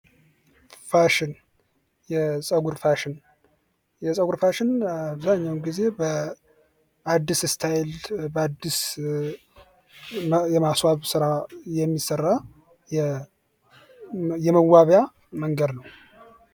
ፋሽን የፀጉር ፋሽን አብዛኛውን ጊዜ በአዲስ ስታይል በአዲስ የማስፋብት ስራ የሚሠራ የመዋቢያ መንገድ ነው።